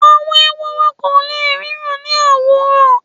àwọn Ehoro ko le ríran ni owurọ